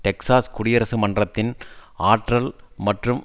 Texas குடியரசு மன்றத்தின் ஆற்றல் மற்றும்